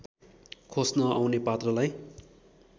खोस्न आउने पात्रलाई